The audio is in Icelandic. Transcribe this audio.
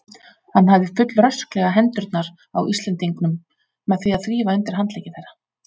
Hann hafði fullrösklega hendurnar á Íslendingunum með því að þrífa undir handleggi þeirra.